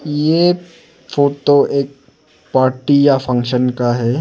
ये फोटो एक पार्टी या फंक्शन का है।